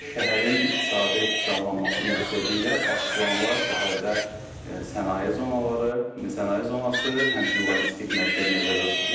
Şəhərin iqtisadi canlanması məqsədi ilə baş planla şəhərdə sənaye zonaları, sənaye zonası, həmçinin logistik mərkəz nəzərdə tutulur.